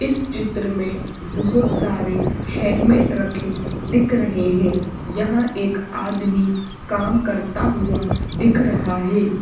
इस चित्र में बहुत सारे हेलमेट रखे दिख रहे हैं यहां एक आदमी काम करता हुआ दिख रहा है।